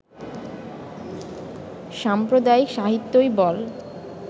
সাম্প্রদায়িক সাহিত্যই বল